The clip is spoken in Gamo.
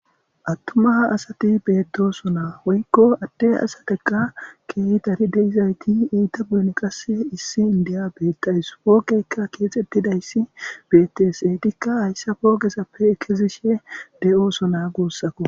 attuma ha asati beetdoso naa woykko adde asateka keehi dari deizayti iita buyon qasse issi indiya beettays poogeykka keexettidayssi betesetikka hayssa poogezappe ekezishe de7ooso naa guussakko